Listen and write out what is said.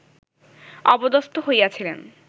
অপদস্থ হইয়াছিলেন